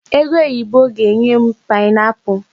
Egoyibo ga-enye m paịnapụlụ.